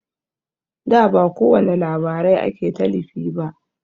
Da ba kowani labarai ake talifi ba